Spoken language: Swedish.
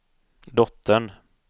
dottern